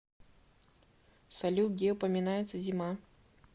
салют где упоминается зима